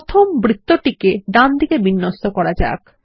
প্রথম এ বৃত্তটিকে ডানদিকে বিন্যস্ত করা যাক